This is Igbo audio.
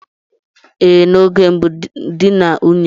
Ee, n'oge mbụ nne na nna n'achọtara ụmụ ha dị na nwunye.